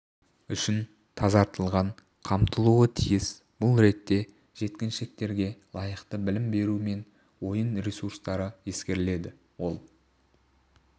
үшін тазартылған қамтылуы тиіс бұл ретте жеткіншектерге лайықты білім беру мен ойын ресурстары ескеріледі ол